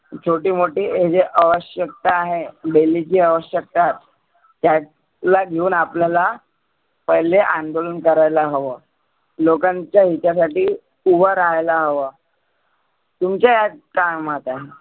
छोटे मोठे जे आवश्यकता आहे daily ची आवश्यकता. त्या ला घेऊन आपल्याला पहिले अंदोलन करायला हवं. लोकांच्या हिता साठी उभ रहायला हवं. तुमच्या ह्यात काय मत आहे?